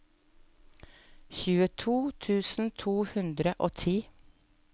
tjueto tusen to hundre og ti